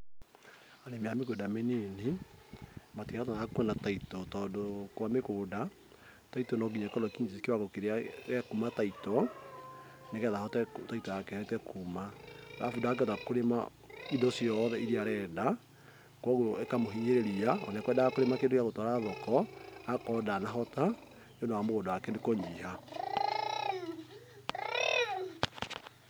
Arĩmi a mĩgũnda mĩnini matihotaga kũona title tondũ kwa mĩgũnda, title no nginya ĩkorwo ĩkinyĩtie kĩwango kĩrĩa gĩa kuma title, ni getha title yake ĩhote kuma. arabu ndangĩhota kũrĩma indo ciothe iria arenda, kogwo ĩkamũhinyĩrĩria, ona ekwendaga kũrĩma kĩndũ gĩa gũtwara thoko, agakorwo ndanahota nĩundũ wa mũgũnda wake kũnyiha.